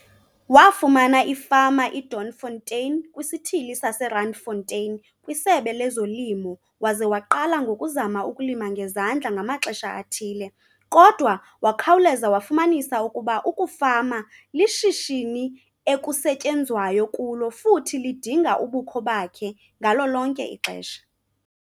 Wafumana ifama iDoornfontein kwisithili saseRandfontein kwiSebe lezoLimo waze waqala ngokuzama ukulima ngezandla ngamaxesha athile kodwa wakhawuleza wafumanisa ukuba ukufama lishishini ekusetyenzwayo kulo futhi lidinga ubukho bakhe ngalo lonke ixesha.